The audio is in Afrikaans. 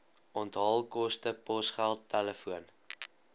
onthaalkoste posgeld telefoon